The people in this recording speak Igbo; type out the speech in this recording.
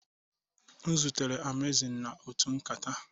M zutere Amazing na otu nkata